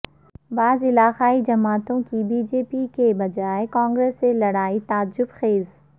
بعض علاقائی جماعتوں کی بی جے پی کے بجائے کانگریس سے لڑائی تعجب خیز